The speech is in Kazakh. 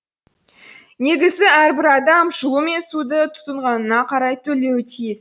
негізі әрбір адам жылу мен суды тұтынғанына қарай төлеуі тиіс